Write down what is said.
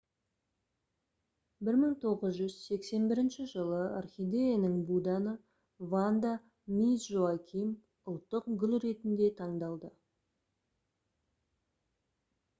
1981 жылы орхидеяның буданы ванда мисс жоаким ұлттық гүл ретінде таңдалды